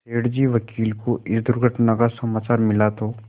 सेठ जी वकील को इस दुर्घटना का समाचार मिला तो